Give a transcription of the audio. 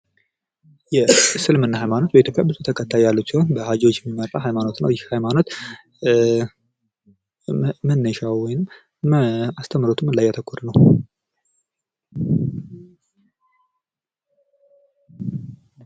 የእስልምና ሃይማኖት በኢትዮጲያ ብዙ ተከታይ ያሉት ሲሆን በሃጂዎች የሚመራ ሃይማኖት ነው ። ይህ ሃይማኖት መነሻው ወይም አስተምሮቱ ምን ላይ ያተኮረ ነው ?